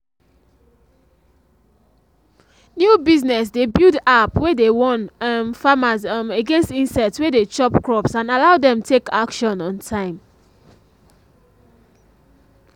new business dey build app wey dey warn um farmers um against insects wey de chop crops and allow dem take action on time